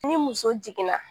Ni muso jiginna